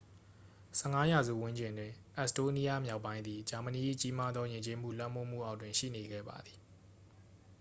15 ရာစုဝန်းကျင်တွင် အက်စ်တိုးနီးယား မြောက်ပိုင်းသည် ဂျာမနီ၏ ကြီးမားသော ယဉ်ကျေးမှု လွှမ်းမိုးမှုအောက်တွင် ရှိနေခဲ့ပါသည်